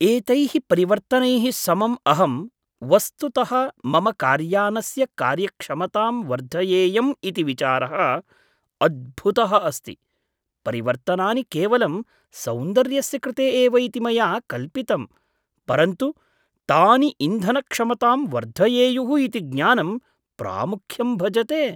एतैः परिवर्तनैः समम् अहं वस्तुतः मम कार्यानस्य कार्यक्षमतां वर्धयेयम् इति विचारः अद्भुतः अस्ति, परिवर्तनानि केवलं सौन्दर्यस्य कृते एव इति मया कल्पितम्, परन्तु तानि इन्धनक्षमतां वर्धयेयुः इति ज्ञानं प्रामुख्यं भजते।